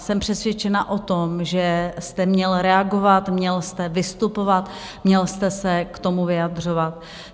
Jsem přesvědčena o tom, že jste měl reagovat, měl jste vystupovat, měl jste se k tomu vyjadřovat.